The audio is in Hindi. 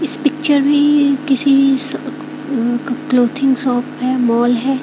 इस पिक्चर में किसी अह का क्लॉथिंग शॉप है मॉल है।